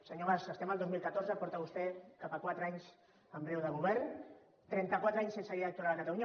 senyor mas estem al dos mil catorze porta vostè cap a quatre anys en breu de govern trentaquatre anys sense llei electoral a catalunya